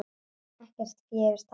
Ekkert fé hefur tapast.